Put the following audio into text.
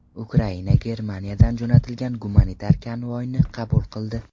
Ukraina Germaniyadan jo‘natilgan gumanitar konvoyni qabul qildi.